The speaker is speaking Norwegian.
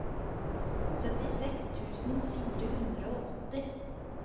syttiseks tusen fire hundre og åtti